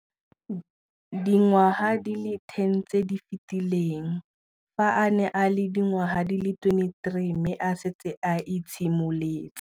Dingwaga di le 10 tse di fetileng, fa a ne a le dingwaga di le 23 mme a setse a itshimoletse.